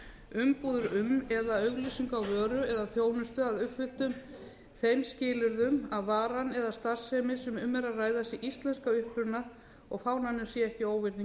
umbúðir um eða auglýsingu á vöru eða þjónustu að uppfylltum þeim skilyrðum að varan eða starfsemin sem um er að ræða sé íslensk að uppruna og fánanum sé ekki óvirðing